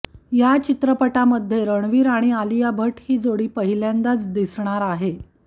या चित्रपटामध्ये रणवीर आणि आलिया भट्ट ही जोडी पहिल्यांदा दिसणार आहे